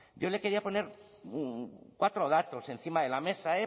yo le quería poner cuatro datos encima de la mesa